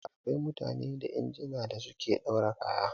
Da akwai mutane da injina da suke ɗaura kaya